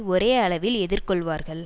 ஒரே அளவில் எதிர் கொள்வார்கள்